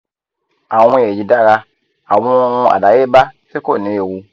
awon eyi dara awon ohun adayeba ti ko ni ewu